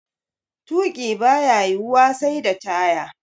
Tuƙi baya yiwuwa sai da taya.